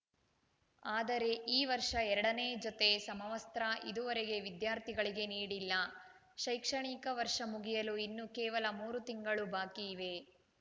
ಆದರೆ ಈ ವರ್ಷ ಎರಡನೇ ಜೊತೆ ಸಮವಸ್ತ್ರ ಇದುವರೆಗೆ ವಿದ್ಯಾರ್ಥಿಗಳಿಗೆ ನೀಡಿಲ್ಲ ಶೈಕ್ಷಣಿಕ ವರ್ಷ ಮುಗಿಯಲು ಇನ್ನು ಕೇವಲ ಮೂರು ತಿಂಗಳು ಬಾಕಿಯಿವೆ